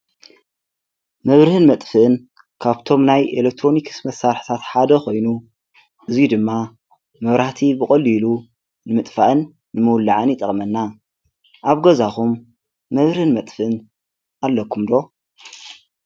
መብርህን መጥፍን ካብቶምናይ ኤለክትሮኒክስ መሣርሕታት ሓደ ኾይኑ እዙይ ድማ መብራቲ ብቖልሉ ንምጥፋእን ንምውላዐን ይጠቕመና ኣብ ገዛኹም መብርህን መጥፍን ኣለኩምዶ።